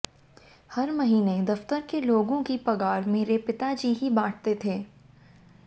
हर महीने दफ्तर के लोगों की पगार मेरे पिता जी ही बांटते थे